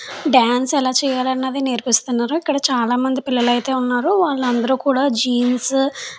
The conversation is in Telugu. డాన్స్ ఎలా చేయాలన్నది నేర్పిస్తున్నారు. ఇక్కడ చాలామంది పిల్లలు అయితే ఉన్నారు వాళ్ళందరూ కూడా జీన్స్ --